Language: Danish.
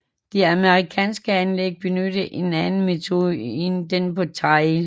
De amerikanske anlæg benyttede en anden metode en den på Trail